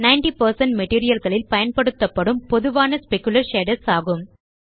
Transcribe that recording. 90 மெட்டீரியல் களில் பயன்படுத்தப்படும் பொதுவான ஸ்பெக்குலர் ஷேடர்ஸ் ஆகும்